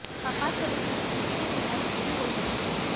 आपात परिस्थिति किसी भी तरह की हो सकती है